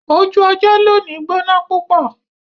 Ojú ọjọ̀ lóní gbọná púpọ̀